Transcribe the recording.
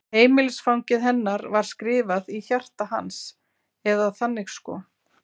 Heimilisfangið hennar var skrifað í hjarta hans, eða þannig sko.